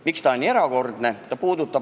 Miks ta on nii erakordne?